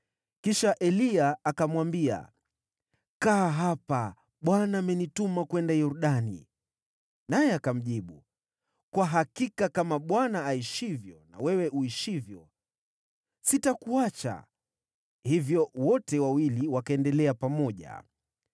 Kisha Eliya akamwambia, “Kaa hapa. Bwana amenituma kwenda Yordani.” Naye akamjibu, “Kwa hakika kama Bwana aishivyo na wewe uishivyo, sitakuacha.” Hivyo wote wawili wakaendelea pamoja.